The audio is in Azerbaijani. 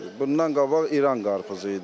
Bundan qabaq İran qarpızı idi.